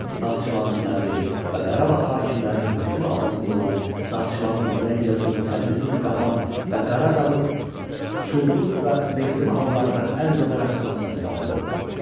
Naxçıvan, Təbriz və Qarabağ hakimlərinin hökmü altında olan Naxçıvanın Zəngəzur, Təbrizin Qapan və Qaradağın Çuldur və Meğri mahallarından əl uzadaraq hamısına sahib oldu.